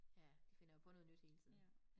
Ja de finder jo på noget nyt hele tiden